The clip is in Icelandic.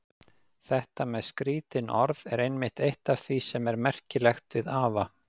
Þetta með skrítin orð er einmitt eitt af því sem er merkilegt við afa.